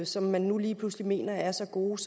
som man nu lige pludselig mener er så gode